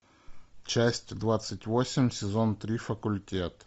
часть двадцать восемь сезон три факультет